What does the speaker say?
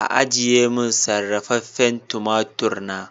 Ajiye min sarrafafen tumatur na.